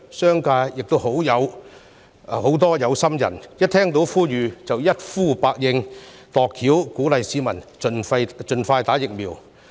商界亦有很多有心人，響應政府呼籲，想盡辦法鼓勵市民盡快接種疫苗。